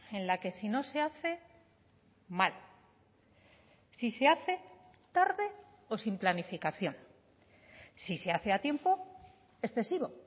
en la que si no se hace mal si se hace tarde o sin planificación si se hace a tiempo excesivo